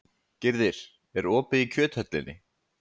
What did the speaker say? Gyrðir, er opið í Kjöthöllinni?